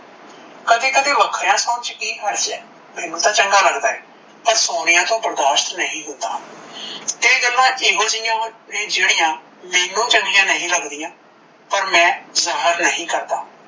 ਕਦੇ ਕਦੇ ਵਖਰਿਆ ਸੋਣ ਚ ਕੀ ਹਰਜ ਏ ਮੈਂਨੂੰ ਤਾਂ ਚੰਗਾ ਲੱਗਦਾ ਏ, ਪਰ ਸੋਨੀਆ ਟੋਹ ਬਰਦਾਸ਼ਤ ਨਹੀਂ ਹੁੰਦਾ, ਤੇ ਏ ਗੱਲ ਏਹੋ ਜੇਹੀਆ ਹਨ ਜੇੜੀਆ ਮੈਂਨੂੰ ਚੰਗਿਆ ਨਹੀਂ ਲੱਗਦੀਆਂ ਪਰ ਮੈ ਜਾਹਰ ਨਹੀਂ ਕਰਦਾ,